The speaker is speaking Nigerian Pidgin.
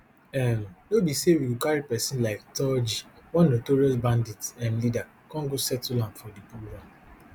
um no be say we go carry pesin like turji one notorious bandit um leader kon go settle am for di program